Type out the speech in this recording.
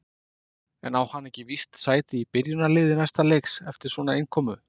En á hann ekki víst sæti í byrjunarliði næsta leiks eftir svona innkomu?